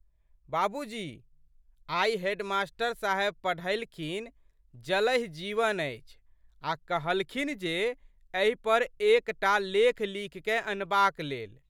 बाबूजी! आइ हेडमास्टर साहब पढ़ेलखिनजलहि जीवन अछि आ' कहलखिन जे एहि पर एक टा लेख लिखिकए अनबाक लेल।